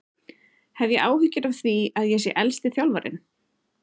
Hef ég áhyggjur af því að ég sé elsti þjálfarinn?